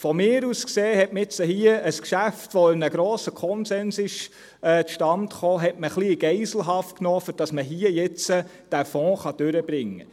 Aus meiner Sicht hat man hier ein Geschäft, das in einem grossen Konsens zustande kam, ein wenig in Geiselhaft genommen, damit der Fonds durchgebracht werden kann.